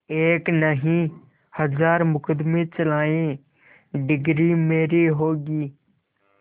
एक नहीं हजार मुकदमें चलाएं डिगरी मेरी होगी